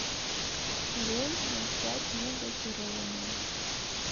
лель ноль пять негазированную